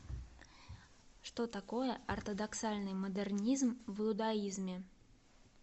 что такое ортодоксальный модернизм в иудаизме